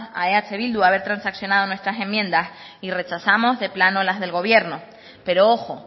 a eh bildu haber transaccionado nuestras enmiendas y rechazamos de plano las del gobierno pero ojo